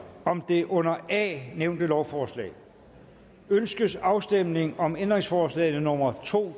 om det under a nævnte lovforslag ønskes afstemning om ændringsforslag nummer to